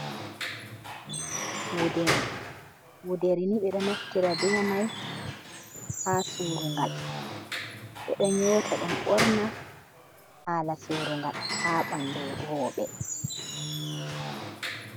Gudel. wuderi ni ɓe ɗo naftira be mai haa suurungal, ɓe ɗo nyota ɗum ɓorna haa suurungal, haa bandu rowɓe.